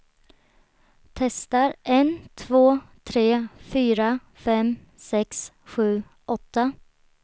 Testar en två tre fyra fem sex sju åtta.